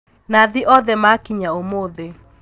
Nathi othe makinya ũmũthĩ.